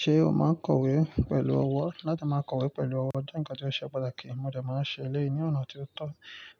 Ṣé o máa kọ̀wé pẹ̀lú ọwọ́? Láti máa kọ̀wé pẹ̀lú ọwọ́ jẹ́ nǹkan tí ó ṣe pàtàkì, mo dẹ̀ máa ń ṣe elé yi ni ọ̀nà tí ó tọ̀